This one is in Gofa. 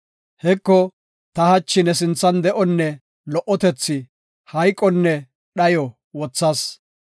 Heko, ta hachi ne sinthan de7onne lo77otethi, hayqonne dhayo wothas.